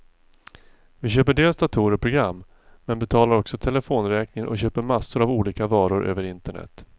Vi köper dels datorer och program, men betalar också telefonräkningen och köper massor av olika varor över internet.